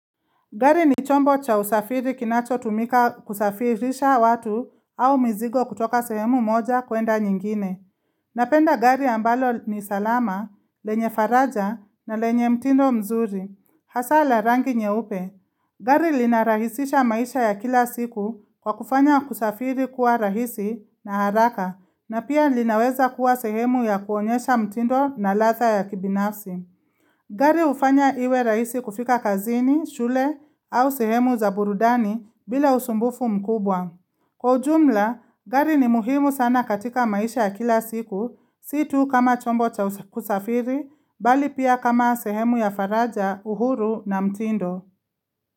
Gari ni chombo cha usafiri kinacho tumika kusafirisha watu au mizigo kutoka sehemu moja kwenda nyingine. Napenda gari ambalo ni salama, lenye faraja na lenye mtindo mzuri. Hasa la rangi nyeupe. Gari linarahisisha maisha ya kila siku kwa kufanya kusafiri kuwa rahisi na haraka na pia linaweza kuwa sehemu ya kuonyesha mtindo na ladha ya kibinafsi. Gari hufanya iwe rahisi kufika kazini, shule au sehemu za burudani bila usumbufu mkubwa. Kwa ujumla, gari ni muhimu sana katika maisha ya kila siku, situ kama chombo cha kusafiri, bali pia kama sehemu ya faraja, uhuru na mtindo.